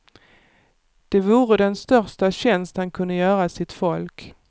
Det vore den största tjänst han kunde göra sitt folk.